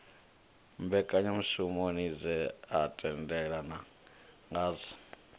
mbekanyamushumo dze ha tendelanwa ngadzo